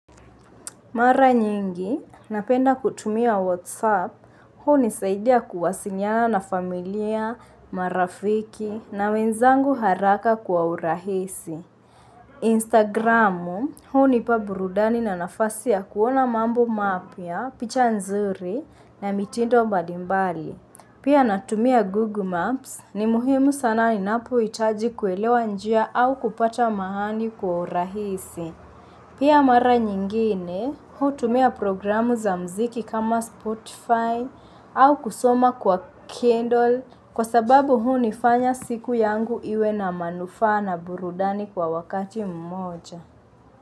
Mara nyingi, napenda kutumia Whatsapp, huu nisaidia kuwasiliana na familia, marafiki, na wenzangu haraka kwa urahisi. Instagramu, huu nipa burudani na nafasia kuona mambo mapia, picha nzuri na mitindo mbalimbali. Pia natumia Google Maps, ni muhimu sana inapo itaji kuelewa njia au kupata mahali kwa urahisi. Pia mara nyingine, hutumia programu za mziki kama Spotify au kusoma kwa Kindle kwa sababu huu nifanya siku yangu iwe na manufa na burudani kwa wakati mmoja.